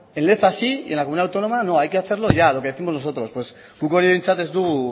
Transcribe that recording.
en leza sí y en la comunidad autónoma no hay que hacerlo ya lo que décimos nosotros guk hori behintzat ez dugu